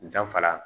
Danfara